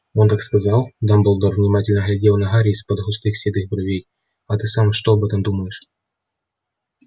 он так сказал дамблдор внимательно глядел на гарри из-под густых седых бровей а ты сам что об этом думаешь